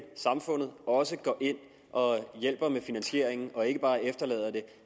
samfundet også går ind og hjælper med finansieringen og ikke bare efterlader den